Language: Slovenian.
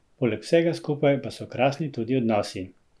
Poleg vsega skupaj pa so krasni tudi odnosi.